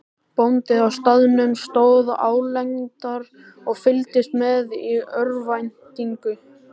Bóndinn á staðnum stóð álengdar og fylgdist með í örvæntingu.